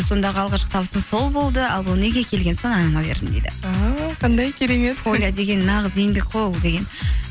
сондағы алғашқы табысым сол болды ал келген соң анама бердім дейді а қандай керемет поля деген нағыз еңбек қой ол деген